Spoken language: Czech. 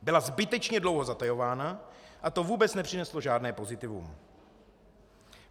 Byla zbytečně dlouho zatajována a to vůbec nepřineslo žádné pozitivum.